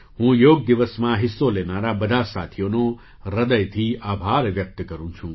હું યોગ દિવસમાં હિસ્સો લેનારા બધા સાથીઓનો હૃદયથી આભાર વ્યક્ત કરું છું